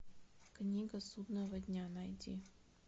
книга судного дня найди